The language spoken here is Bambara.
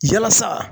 Yalasa